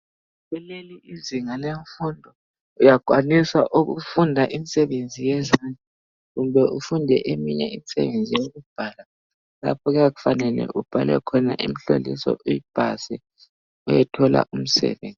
Kuleli izinga lemfundo uyakwanisa ukufunda imisebenzi yezandla kumbe ufunde eminye imisebenzi yokubhala lapho okuyabe kumele ubhale khona imihloliso uyipase uyethola umsebenzi